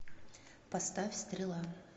поставь стрела